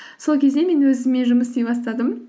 сол кезде мен өзіммен жұмыс істей бастадым